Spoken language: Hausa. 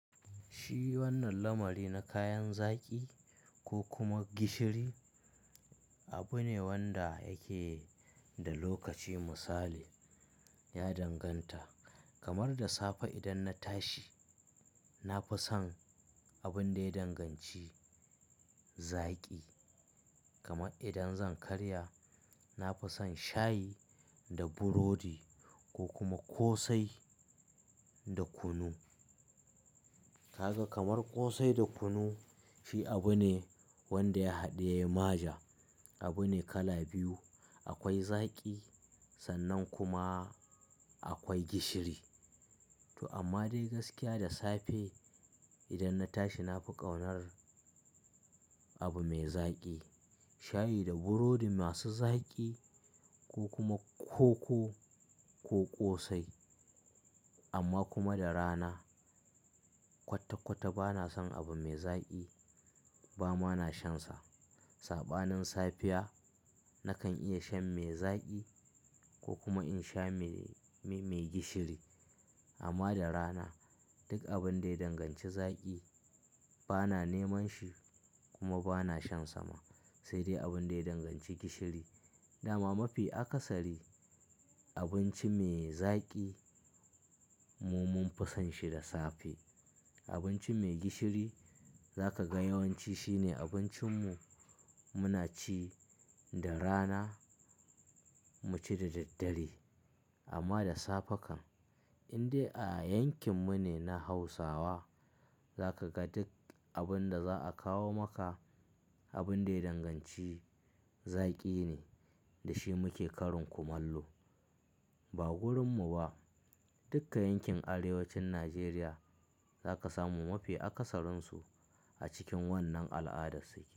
Shi wannan lamari na kayan zaki ko kuma gishiri abu ne wanda yake da lokaci misali, ya danganta kamar da safe idan na tashi na fi son abun da ya danganci zaki. Kamar idan zan karya na fi son shayi da burodi ko kuma ƙosai da kunu. Kaga kamar ƙosai da kunu shi abu ne wanda ya haɗiye maja. Abu ne kala biyu akwai zaki sannan kuma akwai gishiri. To amma dai gaskiya da safe idan na tashi na fi ƙaunar abu mai zaki. Shayi da burodi masu zaki ko kuma koko ko ƙosai amma kuma da rana kwata-kwata ba na son abu mai zaki ba ma na shansa. Saɓanin safiya nakan iya shan mai zaki ko kuma in sha me-mei gishiri. Amma da rana duk abun da ya danganci zaki ba na neman shi kuma ba na shan sa ma, sai dai abun da ya danganci gishiri. Da ma mafi akasari abinci mai zaki mu mun fi son shi da safe. Abinci mai gishiri za ka ga yawanci shine abincin mu muna ci da rana mu ci da daddare. Amma da safe kan, in dai a yankin mu ne na Hausawa za ka ga duk abun da za a kawo maka abun da ya danganci zaki ne da shi muke karin kumallo. Ba wurinmu ba dukka yankin Arewacin Najeriya za ka samu mafi akasarinsu a cikin wannan al'adarsu yake.